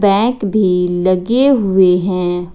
Bank भी लगे हुए हैं।